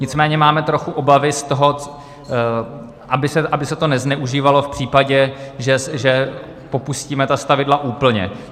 Nicméně máme trochu obavy z toho, aby se to nezneužívalo v případě, že popustíme ta stavidla úplně.